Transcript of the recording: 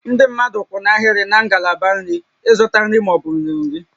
Ndị mmadụ kwụ n'ahịrị na ngalaba nri ịzụta nri ma ọ bụ nri nri